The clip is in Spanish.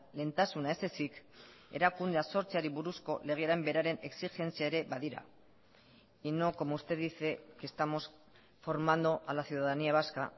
lehentasuna ez ezik erakundea sortzeari buruzko legearen beraren exigentzia ere badira y no como usted dice que estamos formando a la ciudadanía vasca